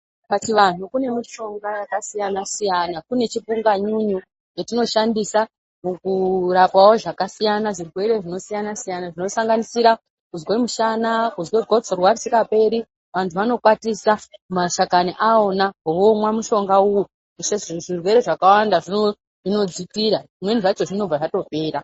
Pachivanhu kune mishonga yakasiyana siyana kune chipunganyunyu chetinoshandisa kurapawo zvakasiyana zvirwere zvinosiyana siyana zvinosanganisira kuzwe mushana kuzwe gotsorwa risingaperi vantu vanokwatisa mashakani awona vomwa mushonga uyu zvirwere zvakawanda zvinodzikira zvimweni zvacho zvinobva zvatopera.